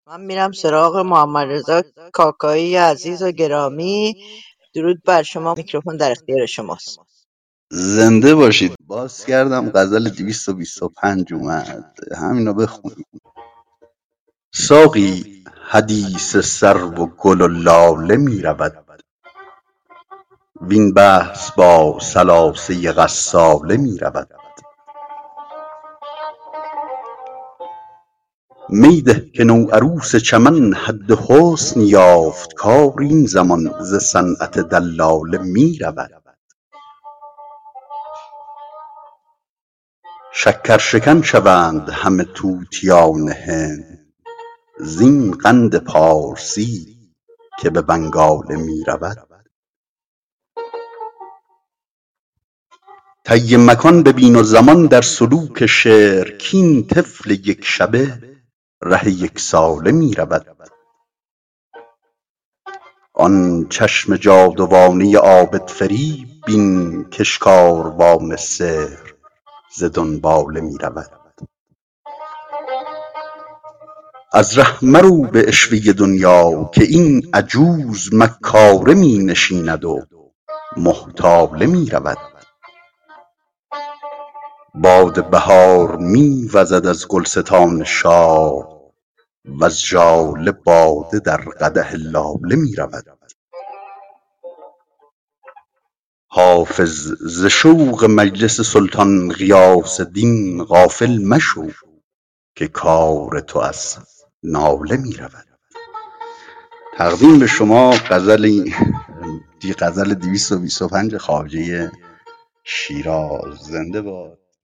ساقی حدیث سرو و گل و لاله می رود وین بحث با ثلاثه غساله می رود می ده که نوعروس چمن حد حسن یافت کار این زمان ز صنعت دلاله می رود شکرشکن شوند همه طوطیان هند زین قند پارسی که به بنگاله می رود طی مکان ببین و زمان در سلوک شعر کاین طفل یک شبه ره یک ساله می رود آن چشم جادوانه عابدفریب بین کش کاروان سحر ز دنباله می رود از ره مرو به عشوه دنیا که این عجوز مکاره می نشیند و محتاله می رود باد بهار می وزد از گلستان شاه وز ژاله باده در قدح لاله می رود حافظ ز شوق مجلس سلطان غیاث دین غافل مشو که کار تو از ناله می رود